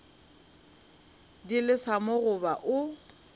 di lesa mo goba o